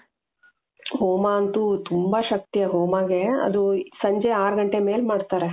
ಹೋಮ ಅಂತು ತುಂಬಾ ಶಕ್ತಿ ಆ ಹೋಮಾಗೆ ಅದು ಸಂಜೆ ಆರು ಗಂಟೆ ಮೇಲೆ ಮಾಡ್ತಾರೆ .